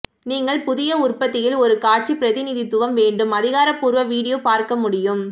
நீங்கள் புதிய உற்பத்தியில் ஒரு காட்சி பிரதிநிதித்துவம் வேண்டும் அதிகாரப்பூர்வ வீடியோ பார்க்க முடியும்